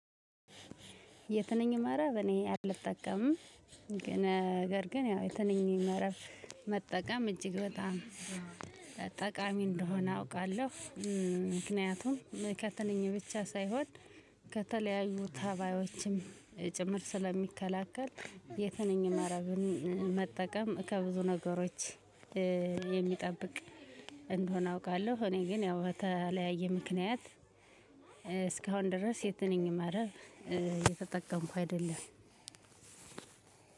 የትንኝ መረብ እኔ አልጠቀምም። ነገር ግን ያው የትንኝ መረብ መጠቀም እጅግ በጣም ጠቃሚ እንደሆነ አውቃለሁ። ምክንያቱም ከትንኝ ብቻ ሳይሆን ከተለያዩ ተባዮችም ጭምር ስለሚከላከል የትንኝ መረብን መጠቀም ከብዙ ነገሮች የሚጠብቅ እንደሆነ አውቃለሁ። እኔ ግን ያው በተለያየ ምክንያት እስካሁን ድረስ የትንኝ መረብ እየተጠቀምኩ አይደለም።